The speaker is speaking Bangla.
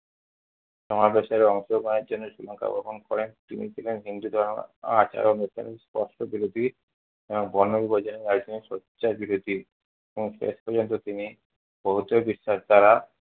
সমাবেশে অংশগ্রহণের জন্য শ্রীলংকা ভ্রমন করেন। তিনি ছিলেন হিন্দু ধর্মের শেষ পর্যন্ত তিনি বৌদ্ধ বিশ্বাস দ্বারা।